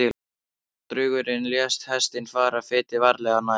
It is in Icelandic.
Drengurinn lét hestinn fara fetið, varlega, nær.